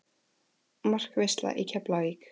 Markaveisla í Keflavík?